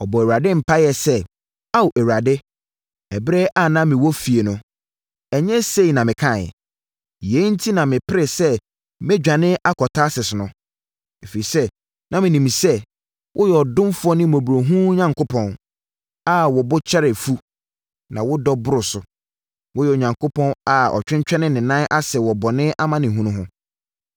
Ɔbɔɔ Awurade mpaeɛ sɛ, “Ao Awurade, ɛberɛ a na mewɔ fie no, ɛnyɛ sei na mekaeɛ? Yei enti na meperee sɛ medwane akɔ Tarsis no, ɛfiri sɛ na menim sɛ, woyɛ ɔdomfoɔ ne mmɔborɔhunu Onyankopɔn a wo bo kyɛre fu, na wodɔ boro so. Woyɛ Onyankopɔn a ɔtwentwɛnee ne nan ase wɔ bɔne amanehunu ho.